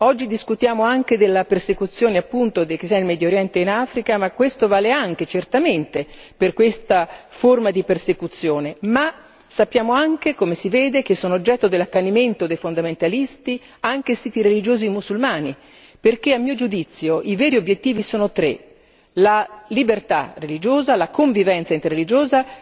Oggi discutiamo anche della persecuzione appunto dei cristiani in Medio Oriente e in Africa, ma questo vale anche, certamente, per questa forma di persecuzione, ma sappiamo anche, come si vede, che sono oggetto dell'accanimento dei fondamentalisti anche i siti religiosi musulmani perché a mio giudizio, i veri obiettivi sono tre la libertà religiosa, la convivenza interreligiosa